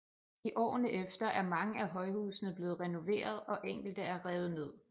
I årene efter er mange af højhusene blevet renoveret og enkelte er revet ned